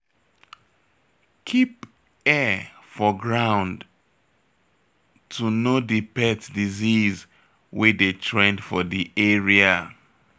Keep ear for ground to know di pet disease wey dey trend for di area